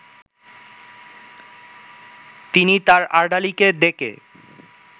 তিনি তার আর্দালিকে ডেকে